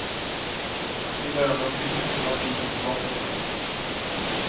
I början av juni var bilen tillbaka på verkstaden.